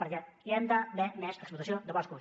perquè hi ha d’haver més explotació de boscos